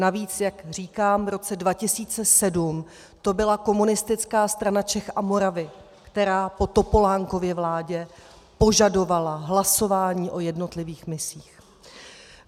Navíc, jak říkám, v roce 2007 to byla Komunistická strana Čech a Moravy, která po Topolánkově vládě požadovala hlasování o jednotlivých misích.